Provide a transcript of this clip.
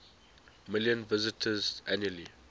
million visitors annually